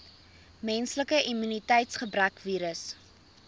menslike immuniteitsgebrekvirus